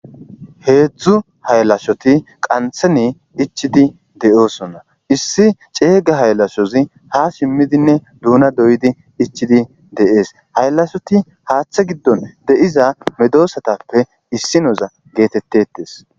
Hedzu haylashoti qathen ichidi de'osona iss cega hayalashozi ha simidinne duna doyidinne ichidi de'es hayalashoti hatha gidon diza halashoti medosatape issinoza getetes